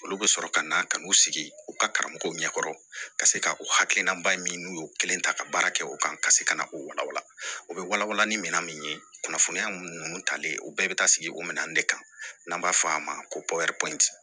Olu bɛ sɔrɔ ka na ka n'u sigi u ka karamɔgɔw ɲɛkɔrɔ ka se ka o hakilina ba min n'u y'o kelen ta ka baara kɛ o kan ka se ka na o walawala o bɛ wala wala ni minɛn min ye kunnafoniya mun n'u talen ye u bɛɛ bɛ taa sigi o minɛn de kan n'an b'a fɔ a ma ko